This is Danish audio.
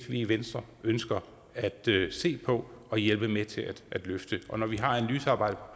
vi i venstre ønsker at se på og hjælpe med til at løfte og når vi har analysearbejdet